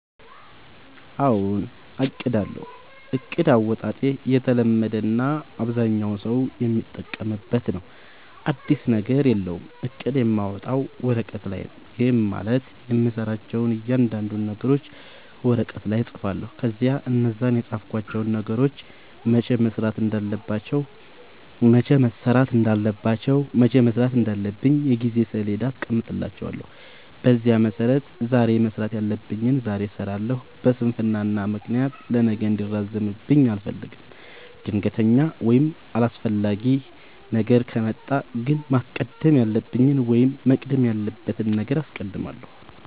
አዎ አቅዳለሁ። እቅድ አወጣጤ የተለመደ እና አብዛኛው ሠው የሚጠቀምበት ነው። አዲስ ነገር የለውም። እቅድ የማወጣው ወረቀት ላይ ነው። ይህም ማለት የምሠራቸውን እያንዳንዱን ነገሮች ወረቀት ላይ እፅፋለሁ። ከዚያ እነዛን የፃፍኳቸውን ነገሮች መቼ መሠራት እንዳለባቸው የጊዜ ሠሌዳ አስቀምጥላቸዋለሁ። በዚያ መሠረት ዛሬ መስራት ያለብኝን ዛሬ እሠራለሁ። በስንፍና ምክንያት ለነገ እንዲራዘምብኝ አልፈልግም። ድንገተኛ ወይም አስፈላጊ ነገር ከመጣ ግን ማስቀደም ያለብኝን ወይም መቅደም ያለበትን አስቀድማለሁ።